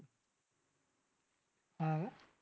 हां का